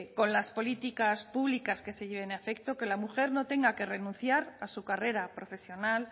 con las políticas públicas que se lleven a efecto que la mujer no tenga que renunciar a su carrera profesional